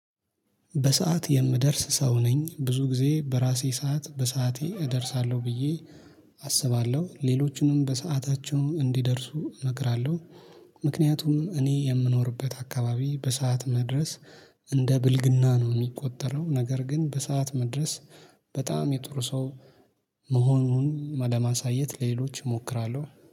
በሰአት የምደርስ ሰው ነኝ ብዙ ጊዜ በራሴ ሰዓት በሰአቴ እደርሳለሁ ብዬ አስባለሁ ሌሎችንም በሰአታቸው እንዲደርሱ እነግራለሁ። ምክንያቱም እኔ የምኖርበት አካባቢ በሰአት መድረስ እንደ ብልግና ነው የሚቆጠረው። ነገር ግን በሰአት መድረስ በጣም የጥሩ ሰው መሆኑን ለማሳየት ለሌሎች እሞክራለሁ